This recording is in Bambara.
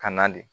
Ka na de